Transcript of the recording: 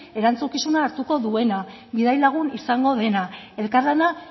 erantzukizuna hartuko duena bidai lagun izango dena elkarlana